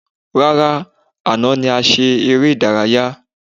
Rárá, àná ni a ṣe eré ìdárayá.